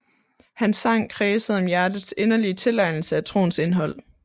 Hans sang kredsede om hjertets inderlige tilegnelse af troens indhold